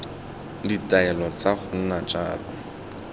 ditaelo tsa go nna jalo